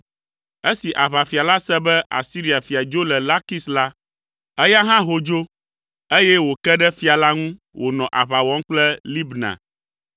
Esi aʋafia la se be Asiria fia dzo le Lakis la, eya hã ho dzo, eye wòke ɖe fia la ŋu wònɔ aʋa wɔm kple Libna.